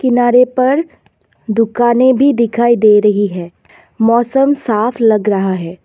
किनारे पर दुकाने भी दिखाई दे रही है मौसम साफ लग रहा है।